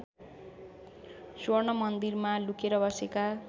स्वर्णमन्दिरमा लुकेर बसेका